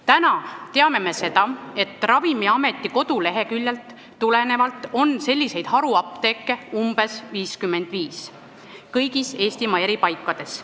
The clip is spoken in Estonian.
Täna me teame Ravimiameti kodulehekülje põhjal, et selliseid haruapteeke on Eestimaa eri paikades umbes 55.